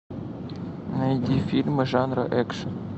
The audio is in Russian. найди фильмы жанра экшн